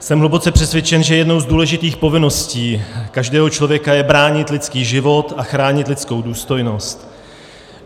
Jsem hluboce přesvědčen, že jednou z důležitých povinností každého člověka je bránit lidský život a chránit lidskou důstojnost.